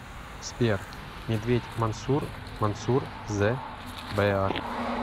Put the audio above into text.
сбер медведь мансур мансур зе бэар